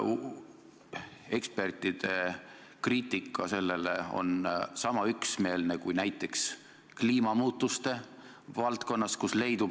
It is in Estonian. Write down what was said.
Ekspertide kriitika selle pihta on sama üksmeelne kui näiteks kliimamuutuste valdkonnas toimuv.